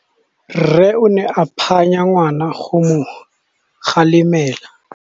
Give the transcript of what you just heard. Rre o ne a phanya ngwana go mo kgalemela.